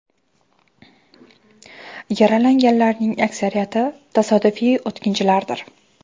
Yaralanganlarning aksariyati tasodifiy o‘tkinchilardir.